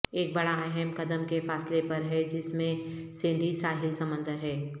ایک بڑا اہم قدم کے فاصلے پر ہے جس میں سینڈی ساحل سمندر ہے